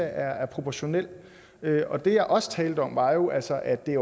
er proportional og det jeg også talte om var jo altså at det